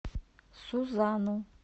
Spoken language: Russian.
сузану